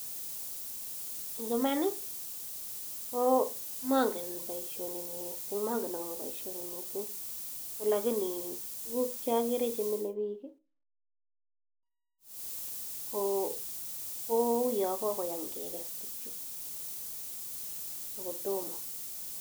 Eng iman ko mongen boisioni mising, mongen akob boisioni misng alakini tuguk che ageere eng yu chemile biik kouyo kokoyam kekes tugchu ako tomo.